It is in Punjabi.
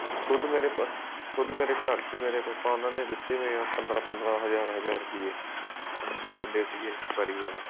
ਖੁਦ ਮੇਰੇ ਖੁਦ ਮੇਰੇ ਘਰ ਚ ਮੇਰੇ ਪਾਪਾ ਉਹਨਾ ਨੇ ਦਿੱਤੇ ਹੋਏ ਆ ਪੰਦਰਾਂ ਪੰਦਰਾਂ ਹਜ਼ਾਰ ਹਜ਼ਾਰ ਰੁਪੇ ਆਉਂਦੇ ਰਹਿੰਦੇ ਸੀਗੇ enquiry ਵਾਲੇ